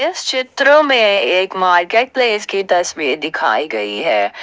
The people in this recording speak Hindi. चित्रों में एक मार्केट प्लेस की तस्वीर दिखाई गई है।